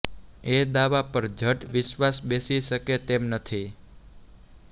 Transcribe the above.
એ દાવા પર ઝટ વિશ્વાસ બેસી શકે તેમ નથી